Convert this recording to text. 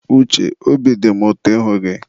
Uche, obi dị mụ ụtọ ịhụ gị.